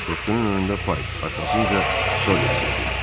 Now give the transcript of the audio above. Qoşqunun önündə Paik, arxasınca Solex gedirdi.